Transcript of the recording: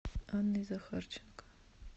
анной захарченко